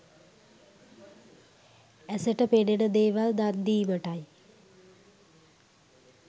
ඇසට පෙනෙන දේවල් දන්දීමටයි.